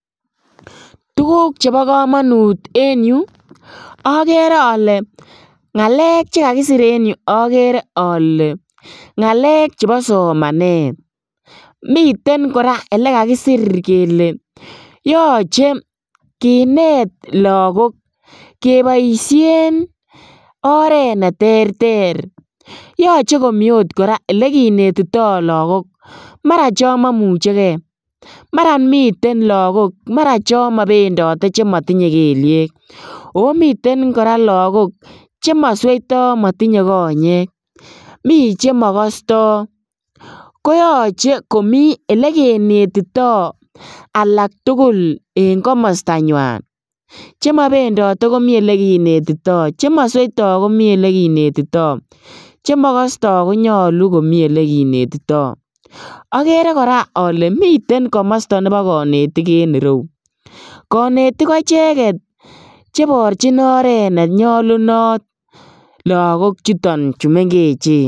Tuguk chebo komonut en yu okere ole kakisir ,okere ole ngalek chebo somanet miten koraa elekakisir kele yoche kinet lagok keboishen oret neterter yoche komi koraa elekinetito lagok maraa chon momuchekee ,mara miten lagok maraa chon mobendote chemotinye keliek omiten koraa lagok chemosweito chemotinye konyek, mi chemokostoo koyoche komii elekinetitoo alak tugul en komostanywan, chemobendote komi elekinetito, chemoswoito komi elekinetitoo, chemokostoo konyolu komi elekinetito, okere koraa ole miten komosto nebo konetik en ireu ,konetik ko icheget cheiborjin oret nenyolunot lagok chuton chu mengechen.